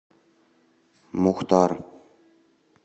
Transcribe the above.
мухтар